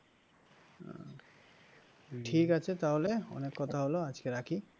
ঠিক আছে তাহলে অনেক কথা হল আজকে রাখি।